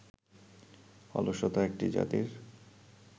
অলসতা একটি জাতির